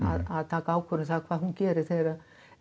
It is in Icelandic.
að taka ákvörðun um hvað hún gerir þegar